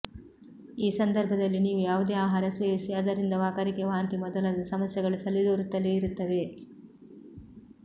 ಈ ಸಂದರ್ಭದಲ್ಲಿ ನೀವು ಯಾವುದೇ ಆಹಾರ ಸೇವಿಸಿ ಅದರಿಂದ ವಾಕರಿಕೆ ವಾಂತಿ ಮೊದಲಾದ ಸಮಸ್ಯೆಗಳು ತಲೆದೋರುತ್ತಲೇ ಇರುತ್ತವೆ